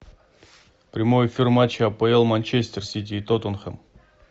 прямой эфир матча апл манчестер сити и тоттенхэм